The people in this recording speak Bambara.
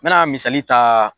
N mɛna misali ta